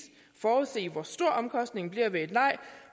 forudse hvor stor omkostningen bliver ved et nej